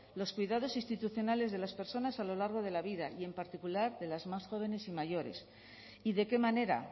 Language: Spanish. los cuidados institucionales de las personas a lo largo de la vida y en particular de las más jóvenes y mayores y de qué manera